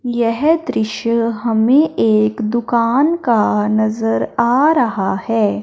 यह दृश्य हमें एक दुकान का नज़र आ रहा है।